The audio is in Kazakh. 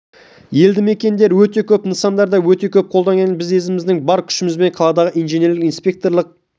елді мекендер өте көп нысандар да өте көп қолдан келгенше біз өзіміздің бар күшімізбен қаладағы инженерлік-инспекторлық